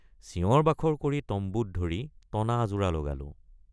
চিঞৰবাখৰ কৰি তম্বুত ধৰি টনাআজোৰা লগালো।